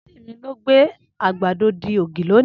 Anti mi lo gbe agbado di ogi loni